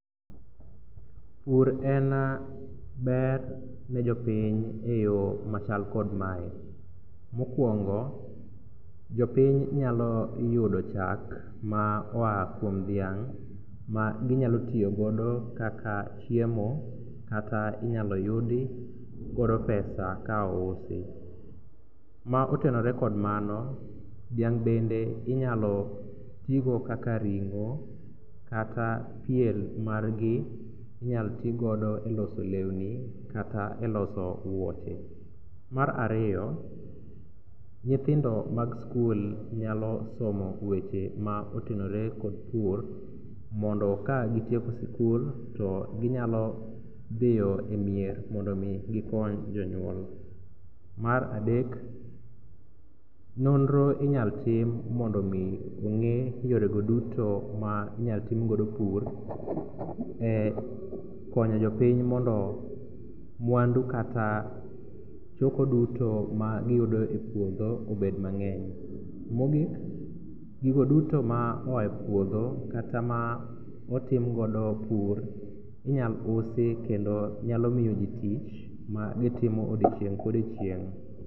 Pur en ber ne jopiny e yo machal kod mae, mokwongo jopiny nyalo yudo chak ma oa kuom dhiang' maginyalo tiyogodo kaka chiemo kata inyalo yudigodo pesa ka ousi. Ma otenore kod mano, dhiang' bende inyalo tigo kaka ring'o kata pien margi inyal tigodo e loso lewni kata e loso wuoche. Mar ariyo, nyithindo mag skul nyalo somo weche ma otenore kod pur mondo kagitieko sikul to ginyalo dhiyo e mier mondo omi gikony jonyuol. Mar adek, nonro inyal tim mondo omi ong'e yorego duto ma inyaltimgodo pur e konyo jopiny mondo mwandu kata choko duto magiyudo e puodho obed mang'eny. Mogik, gigo duto ma oa e puodho kata ma otimgodo pur inyal usi kendo nyalo miyoji tich magitimo odiechieng' kodiechieng'.